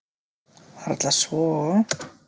Varla svo.